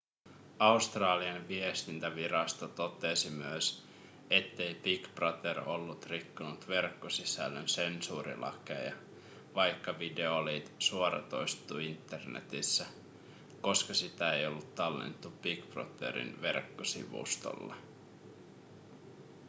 australian viestintävirasto totesi myös ettei big brother ollut rikkonut verkkosisällön sensuurilakeja vaikka video oli suoratoistettu internetissä koska sitä ei ollut tallennettu big brotherin verkkosivustolle